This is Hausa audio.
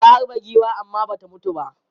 Ya harbe giwan amma ba ta mutu ba.